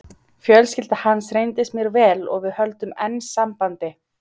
Fjölskylda hans reyndist mér vel og við höldum enn sambandi.